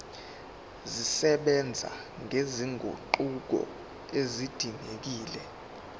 zisebenza nezinguquko ezidingekile